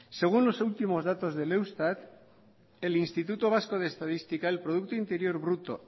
según los últimos datos del eustat el instituto vasco de estadística el producto interior bruto